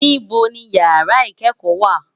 Nibò ni ìyàrá ikèékò wá?